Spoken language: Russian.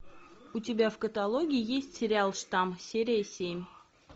у тебя в каталоге есть сериал штамм серия семь